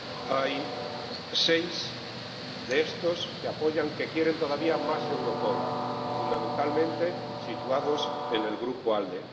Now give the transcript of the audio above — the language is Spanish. Hay seis de estos que quieren todavía más Europol, fundamentalmente situados en el Grupo ALDE.